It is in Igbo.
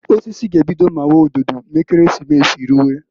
Osisi g'ebido mawa ododo m'Ekeresimesi ruwe.